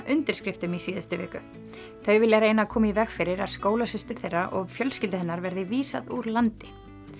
undirskriftum í síðustu viku þau vilja reyna að koma í veg fyrir að skólasystur þeirra og fjölskyldu hennar verði vísað úr landi